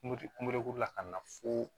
Mori kulukuru la ka na fo